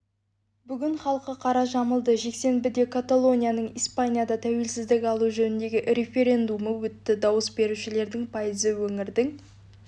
бүгін халқы қара жамылды жексенбіде каталонияның испаниядан тәуелсіздік алу жөніндегі референдумы өтті дауыс берушілердің пайызы өңірдің